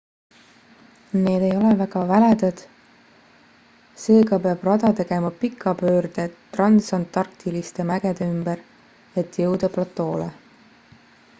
need ei ole väga väledad seega peab rada tegema pika pöörde transantarktiliste mägede ümber et jõuda platoole